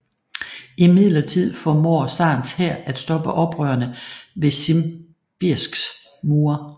Imidlertid formår zarens hær at stoppe oprørerne ved Simbirsks mure